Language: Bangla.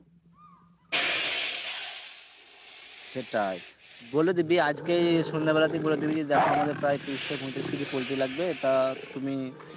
সেটাই বলে দিবি আজকেই সন্ধ্যে বেলাতেই বলে দিবি যে দেখো আমাদের প্রায় ত্রিশ থেকে পয়ত্রিশ KG poultry লাগবে তা তুমি